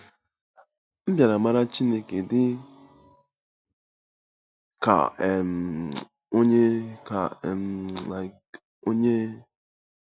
M bịara mara Chineke dị ka um Onye. ka um Onye.